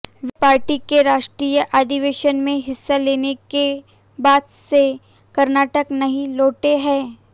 वे party के राष्ट्रीय अधिवेशन में हिस्सा लेने के बाद से कर्नाटक नहीं लौटे हैं